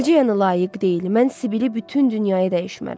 Necə yəni layiq deyil, mən Sibili bütün dünyaya dəyişmərəm.